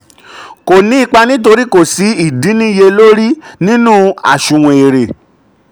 kò ní ipa nítorí kò sí ìdínniyẹlórí nínú àsunwon èrè.